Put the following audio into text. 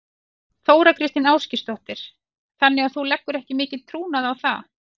Þóra Kristín Ásgeirsdóttir: Þannig að þú leggur ekki mikinn trúnað á það?